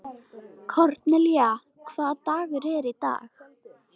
Kornelía, hvaða dagur er í dag?